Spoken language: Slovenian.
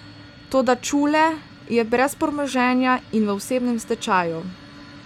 Toda Čule je brez premoženja in v osebnem stečaju.